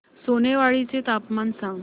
सोनेवाडी चे तापमान सांग